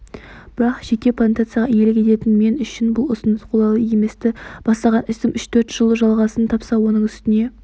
бірақ жеке плантацияға иелік ететін мен үшін бұл ұсыныс қолайлы емес-ті бастаған ісім үш-төрт жыл жалғасын тапса оның үстіне